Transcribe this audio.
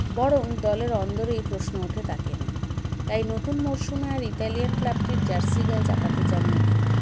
বরং দলের অন্দরেই প্রশ্ন ওঠে তাকে নিয়ে তাই নতুন মরশুমে আর ইতালিয়ান club -টির jersey গায়ে চাপাতে চাননি তিনি